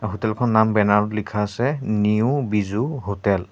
Hotel খন নাম banner ত লিখা আছে নিউ বিজু হোটেল ।